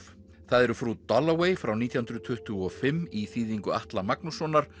það eru Frú frá nítján hundruð tuttugu og fimm í þýðingu Atla Magnússonar